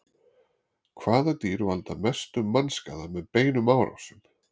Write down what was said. hvaða dýr valda mestum mannskaða með beinum árásum